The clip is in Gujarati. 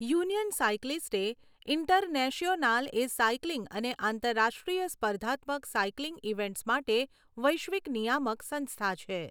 યુનિયન સાઇક્લિસ્ટે ઇન્ટરનેશિઓનાલ એ સાઇકલિંગ અને આંતરરાષ્ટ્રીય સ્પર્ધાત્મક સાઇકલિંગ ઇવેન્ટ્સ માટે વૈશ્વિક નિયામક સંસ્થા છે.